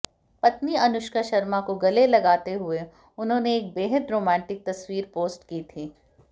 पत्नी अनुष्का शर्मा को गले लगाते हुए उन्होंने एक बेहद रोमांटिक तस्वीर पोस्ट की थी